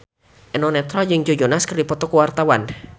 Eno Netral jeung Joe Jonas keur dipoto ku wartawan